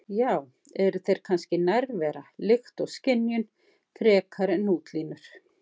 Já- eru þeir kannski nærvera, lykt og skynjun, frekar en útlínur?